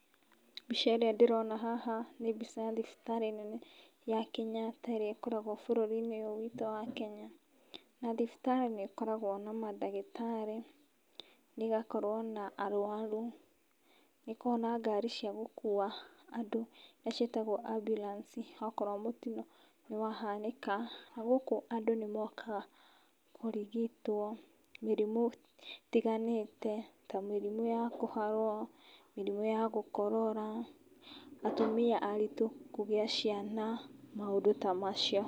Mbica ĩrĩa ndĩrona haha nĩ mbica ya thibitarĩ nene ya Kenyatta ĩrĩa ĩkoragwo bũrũri-inĩ ũyũ witũ wa Kenya, na thibitarĩ nĩ ĩkoragwo na mandagĩtarĩ, na ĩgakorwo na arwaru, nĩ ĩkoragwo na ngari cia gũkua andũ, iria ciĩtagwo ambulance, okorwo mũtino nĩ wahanĩka, na gũkũ andũ nĩ mokaga kũrigitwo mĩrimũ ĩtiganĩte, ta mĩrimũ ya kũharwo, mĩrimũ ya gũkorora, atumia aritũ kũgia ciana, maũndũ ta macio.